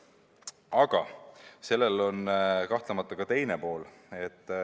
Aga sellel on kahtlemata ka teine pool.